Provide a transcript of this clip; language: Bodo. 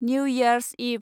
new years इभ